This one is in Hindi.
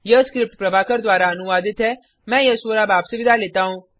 यह स्क्रिप्ट प्रभाकर द्वारा अनुवादित है मैं यश वोरा अब आपसे विदा लेता हूँ